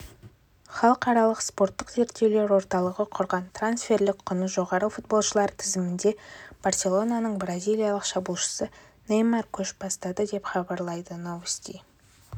халықаралық спорттық зерттеулер орталығы құрған трансферлік құны жоғары футболшылар тізімінде барселонаның бразилиялық шабуылшысы неймар көш бастады деп хабарлайды новости